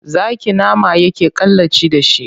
Zaki nama yake kalaci da shi.